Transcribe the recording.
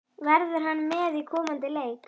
Verður hann með í komandi leik?